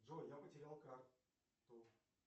джой я потерял карту